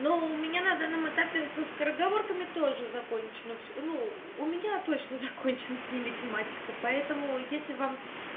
но у меня на данном этапе со скороговорками тоже закончено всё ну у меня точно закончена с ними тематика поэтому если вам